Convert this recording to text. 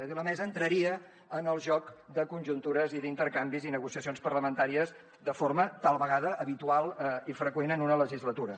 és a dir la mesa entraria en el joc de conjuntures i d’intercanvis i negociacions parlamentàries de forma tal vegada habitual i freqüent en una legislatura